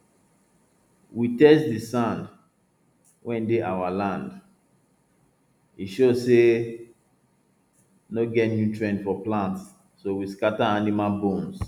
we test de sand wey dey our land e show say no get nutrient for plants so we scatter animal bones